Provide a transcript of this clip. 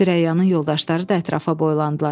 Sürəyanın yoldaşları da ətrafa boylandılar.